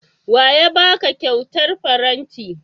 Wa ya ba ka kyautar faranti?